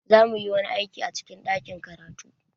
Za mu yi wani aiki a cikin ɗakin karatu.